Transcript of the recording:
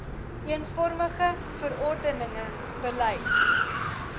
eenvormige verordenige beleide